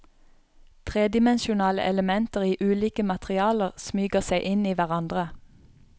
Tredimensjonale elementer i ulike materialer smyger seg inn i hverandre.